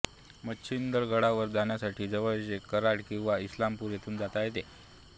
मच्छिंद्रगडावर जाण्यासाठी जवळचे कराड किंवा इस्लामपूर येथून जाता येते